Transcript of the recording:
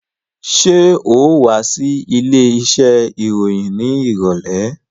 Ṣé ò wá sí ilé iṣẹ́ ìròyìn ní ìrọ̀lẹ́?